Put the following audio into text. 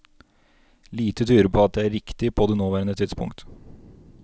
Lite tyder på at det er riktig på det nåværende tidspunkt.